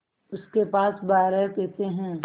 उसके पास बारह पैसे हैं